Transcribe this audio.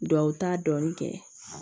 Duw ta dɔɔnin kɛ